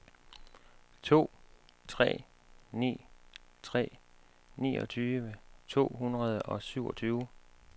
to tre ni tre niogtyve to hundrede og syvogtyve